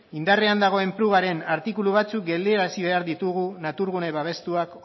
indarrean dagoen prugaren artikulu batzuk geldiarazi behar ditugu natur gune babestuak